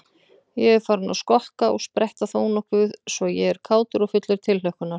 Ég er farinn að skokka og spretta þónokkuð svo ég er kátur og fullur tilhlökkunar.